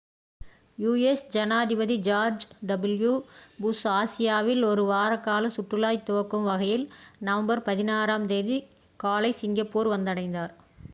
U S ஜனாதிபதி George W Bush ஆசியாவில் ஒரு வார கால சுற்றுலாவைத் துவக்கும் வகையில் நவம்பர் 16ஆம் தேதி காலை சிங்கப்பூர் வந்தடைந்தார்